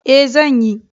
E, zan yi.